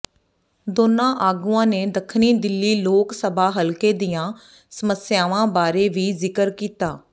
ਦੋਨਾਂ ਆਗੂਆਂ ਨੇ ਦੱਖਣੀ ਦਿੱਲੀ ਲੋਕ ਸਭਾ ਹਲਕੇ ਦੀਆਂ ਸਮੱਸਿਆਵਾਂ ਬਾਰੇ ਵੀ ਜ਼ਿਕਰ ਕੀਤਾ